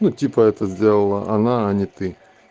ну типа это сделала она а не ты